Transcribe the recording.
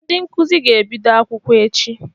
Ndị nkuzi ga-ebido akwụkwọ echi.